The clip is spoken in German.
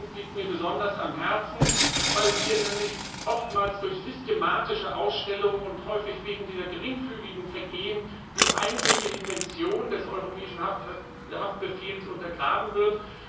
Dieser Punkt liegt mir besonders am Herzen, weil hier nämlich oftmals durch systematische Ausstellungen des Haftbefehls, häufig wegen geringfügiger Vergehen, die eigentliche Intention des Europäischen Haftbefehls untergraben wird.